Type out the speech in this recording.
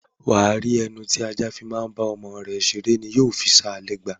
Wà á rí pé ẹnu tí ajá bá fi bá ọmọ rẹ̀ ṣeré ni yóò fi ṣa lẹ́gba.